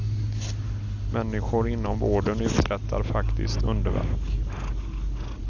Människor inom vården uträttar faktiskt underverk.